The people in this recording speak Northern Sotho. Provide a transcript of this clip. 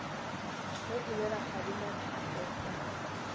ge e le rakgadi maphefo